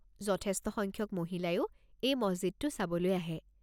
যথেষ্ট সংখ্যক মহিলাইও এই মছজিদটো চাবলৈ আহে।